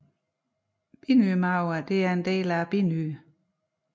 Binyremarven er en del af binyren